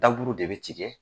Daburu de bɛ tigɛ.